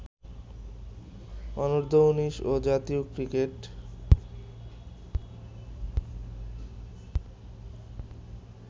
অনূর্ধ্ব-১৯ ও জাতীয় ক্রিকেট